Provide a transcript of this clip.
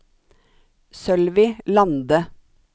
Sølvi Lande